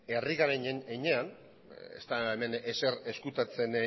herri garen heinean ez da hemen ezer ezkutatzen